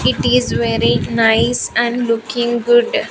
It is very nice and looking good.